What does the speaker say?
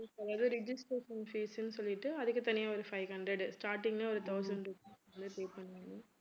அதாவது registration fees ன்னு சொல்லிட்டு அதுக்கு தனியா ஒரு five hundred உ starting லயே ஒரு thousand~pay பண்ணிடனும்